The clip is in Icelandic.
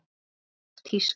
Hún datt úr tísku.